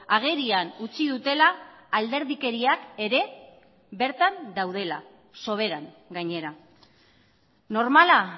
agerian utzi dutela alderdikeriak ere bertan daudela soberan gainera normala